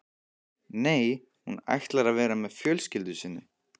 Nei, hún ætlar að vera með fjölskyldu sinni.